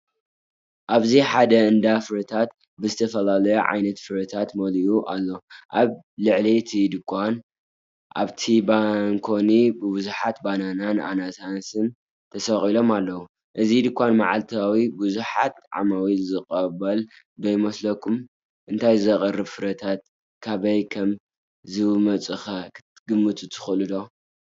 ኣብዚ ሓደ እንዳ ፍረታት ብዝተፈላለየ ዓይነት ፍረታት መሊኡ ኣሎ። ኣብ ልዕሊ እቲ ድኳን ኣብቲ ባንኮኒ ብዙሓት ባናናን ኣናናስን ተሰቒሎም ኣለዉ። እዚ ድኳን መዓልታዊ ብዙሓት ዓማዊል ዝቕበል ዶ ይመስለኩም? እቶም ዝቐርቡ ፍረታት ካበይ ከም ዝመጹኸ ክትግምቱ ትኽእሉዶ፧